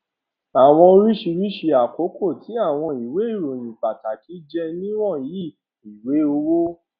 àwọn oríṣi àkókó ti àwọn ìwé ìròyìn pàtàkì jé ni wọnyi i ìwé owó